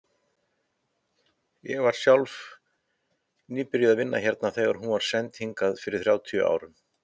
Ég var sjálf nýbyrjuð að vinna hérna þegar hún var send hingað fyrir þrjátíu árum.